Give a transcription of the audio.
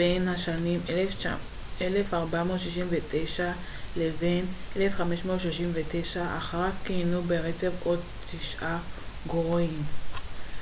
1469 - 1539. אחריו כיהנו ברצף עוד תשעה גורואים